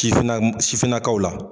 Sifinna sifinnakaw la